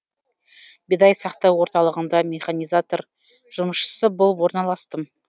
бидай сақтау орталығында механизатор жұмысшысы болып орналастым